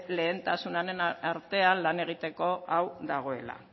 lehentasunen artean lan egiteko hau dagoela